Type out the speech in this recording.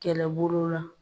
Kɛlɛbolo la.